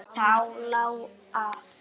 Það lá að.